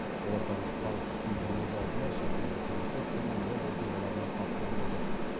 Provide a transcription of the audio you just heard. олардан салық түспейтіні өз алдына шетелдік көліктер түрлі жол оқиғаларына тап болып жатады